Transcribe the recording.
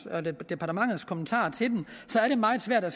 og departementets kommentarer til dem så er det meget svært at